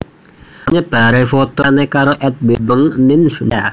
Amarga nyebaré foto mesrané karo Edwin Abeng ninf dunya maya